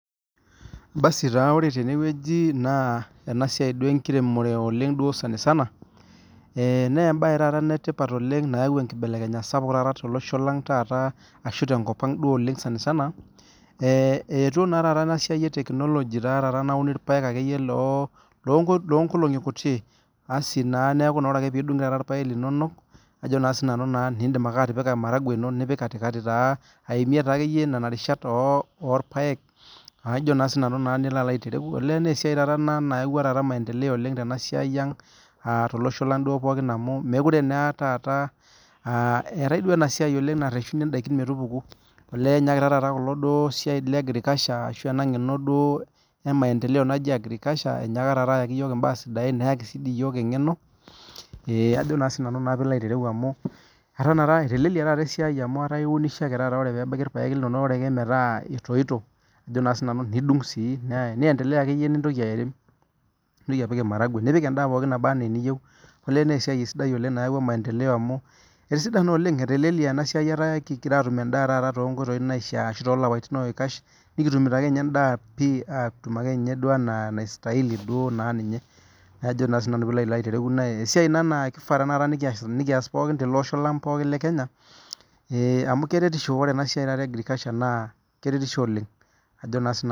Basu naa ore tenewueji na enasia enkiremore sanisana na embae nayau enkibelekenyata tolosho lang taata ashu tenkop aang sanisana etii na enasia e technology nauni irpaek lonkolongi kuti asi nindim atipika maragwe ino nipik katikati taa aimei taakeyie inarishat orpaek na esiai ekeyie ina nayawua maendeleo tolosho lang amu mekute taata eetae nareshuni endaa meo neaku inyaka enasia e agriculture ashu enangeno ayaki mbaa sidai neyaki yiol emgeno amu etelelia esiai amu iun ake irpaek linonok ore pebulu etoitoi ajo na sinanu nintoki apik maragwe nipik endaa pooki naba anaa eniyieu amu ataa ekingira atum endaa tonkoitoi naishaa ashu tolapaitin oikash nikitumito akeenye endaa pii atum anaa enaistaili na esiai na kishaa pikiaa pooki tolosho lekenya amu ore enasia e agriculture na keretisho oleng